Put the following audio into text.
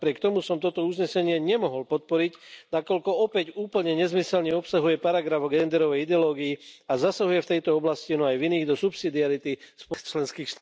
Napriek tomu som toto uznesenie nemohol podporiť, nakoľko opäť úplne nezmyselne obsahuje paragraf o genderovej ideológii a zasahuje v tejto oblasti, no aj v iných, do subsidiarity členských...